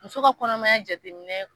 Muso ka kɔnɔmaya jateminɛ